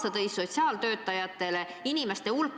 Teate, mida see sotsiaaltöötajatele kaasa tõi?